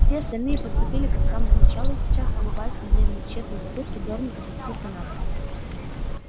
все остальные поступили как с самого начала и сейчас улыбаясь смотрели на тщетные попытки дорника спуститься на пол